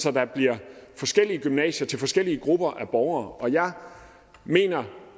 at der bliver forskellige gymnasier til forskellige grupper af borgere og jeg mener